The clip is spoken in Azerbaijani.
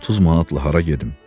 30 manatla hara gedim?